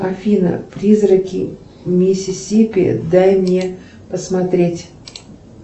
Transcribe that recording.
афина призраки миссисипи дай мне посмотреть